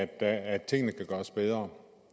af at tingene kan gøres bedre